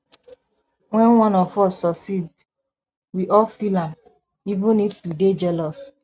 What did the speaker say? when one of us succeed we all feel am even if we dey jealous